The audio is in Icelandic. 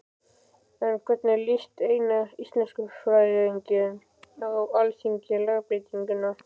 En hvernig líst eina íslenskufræðingnum á Alþingi á lagabreytinguna?